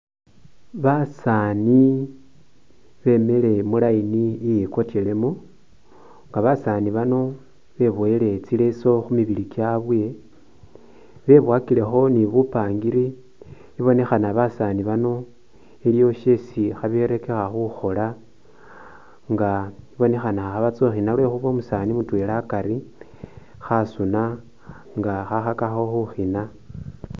Basaani bemike mu line iyikotyelemu, nga basaani bano beboyele tsileso khu mibili kyabwe, beboyakilekhi ni bupangiri ibunekhana basaani bano iliwo syesi khaberekekha khukhola nga ibonekha khabatsa khukhina lwekhuba umusaani mutwela akari khasuna nga khakhakakho khukhina.